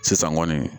Sisan kɔni